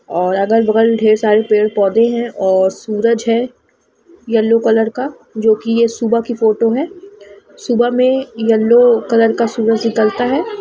और अगल-बगल ढेर सारे पेड़-पौधे हैं और सूरज है येलो कलर का जो कि ये सुबह की फोटो है सुबह में येलो कलर का सूरज निकलता है।